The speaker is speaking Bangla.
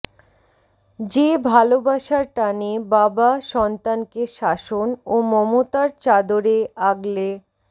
যে ভালোবাসার টানে বাবা সন্তানকে শাসন ও মমতার চাদরে আগলে